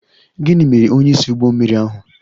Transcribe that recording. Gịnị mere onyeisi ụgbọ mmiri ahụ?